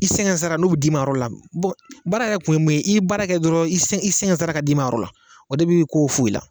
I sɛgɛn sara n'o bɛ d'i ma a yɔrɔ la, baara wɛrɛ kun ye min ye ni i sɛgɛn sara bɛ d'i ma a yɔrɔ ma o de bɛ ko in fo i la